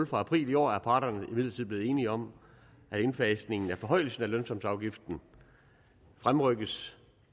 fra april i år er parterne imidlertid blevet enige om at indfasningen af forhøjelsen af lønsumsafgiften fremrykkes